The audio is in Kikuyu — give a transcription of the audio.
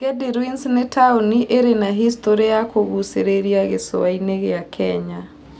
Gedi Ruins nĩ taũni ĩrĩ na hicitorĩ ya kũgucĩrĩria gĩcũa-inĩ gĩa Kenya.